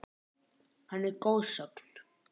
Hann er goðsögn.